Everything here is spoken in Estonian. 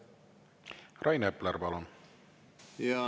Rain Epler, palun!